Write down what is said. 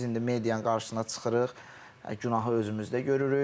Düzdür, biz indi medianın qarşısına çıxırıq, günahı özümüzdə görürük.